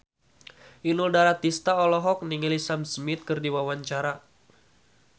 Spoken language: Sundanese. Inul Daratista olohok ningali Sam Smith keur diwawancara